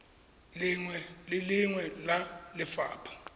lengwe le lengwe la lelapa